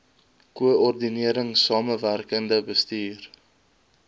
koördinering samewerkende bestuur